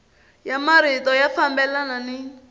ya marito ya fambelana ni